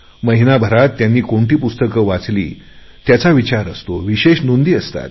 महिन्याभरात त्यांनी कोणती पुस्तके वाचली त्याचा विचार असतो विशेष नोंदी असतात